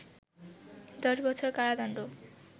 ১০ বছর কারাদণ্ড